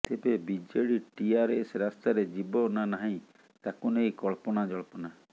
ତେବେ ବିଜେଡି ଟିଆରଏସ ରାସ୍ତାରେ ଯିବ ନା ନାହିଁ ତାକୁ ନେଇ କଳ୍ପନାଜଳ୍ପନା